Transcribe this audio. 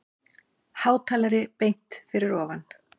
Hátalari beint fyrir ofan.